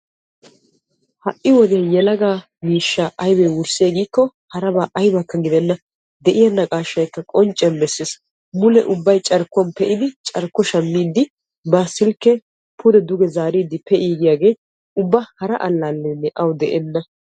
Ha'i wodiyan yelaga miishsha wurssiyay mule ubbay carkkuwan pe'iddi carkkuwan shamiddi go'ettees. Hara alalenne ettawu de'enna.